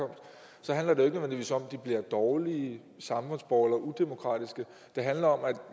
handler det nødvendigvis om at de bliver dårlige samfundsborgere eller udemokratiske det handler om at